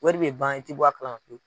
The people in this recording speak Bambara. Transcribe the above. Wari bɛ ban i tɛ bɔ a kalama pewu.